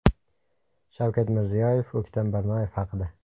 Shavkat Mirziyoyev O‘ktam Barnoyev haqida.